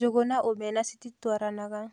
Njũgũ na omena cititwaranaga